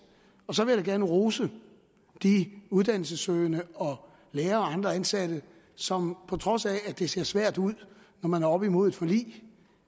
så vil jeg gerne rose de uddannelsessøgende lærere og andre ansatte som på trods af at det så svært ud når man var oppe imod et forlig